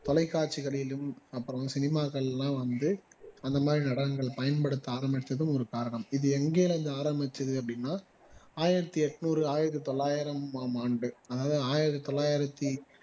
தொலைக்காட்சிகளிலும் அப்பொரம் சினிமாக்களிலாம் வந்து அந்த மாதிரி நடனங்கள் பயன்படுத்த ஆரம்பிச்சதும் ஒரு காரணம் இது எங்க இருந்து ஆரம்பிச்சது அப்படின்னா ஆயிரத்து எண்ணூறு ஆயிரத்து தொள்ளாயிரமாம் ஆண்டு அதாவது ஆயிரத்தி தொள்ளாயிரத்தி